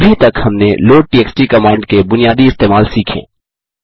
अभी तक हमने लोड टीएक्सटी कमांड के बुनियादी इस्तेमाल सीखें